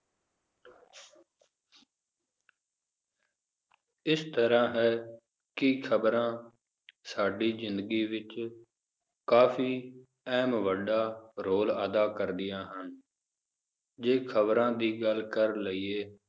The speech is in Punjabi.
ਇਸ ਤਰਾਹ ਹੈ, ਕਿ ਖਬਰਾਂ ਸਾਡੀ ਜ਼ਿੰਦਗੀ ਵਿਚ ਕਾਫੀ, ਅਹਿਮ ਵੱਡਾ ਰੋਲ ਅਦਾ ਕਰਦੀਆਂ ਹਨ ਜੇ ਖਬਰਾਂ ਦੀ ਗੱਲ ਕਰ ਲਇਏ